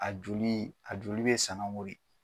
A joli a joli bɛ sanago de.